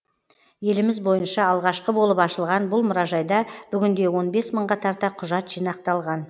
еліміз бойынша алғашқы болып ашылған бұл мұражайда бүгінде он бес мыңға тарта құжат жинақталған